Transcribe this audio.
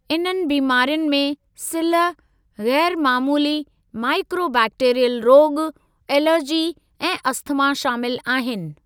इन्हनि बीमारियुनि में सिल्ह, ग़ैरु मामूली माइकोबैक्टीरियल रोॻु, एलर्जी ऐं अस्थमा शामिल आहिनि।